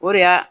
O de y'a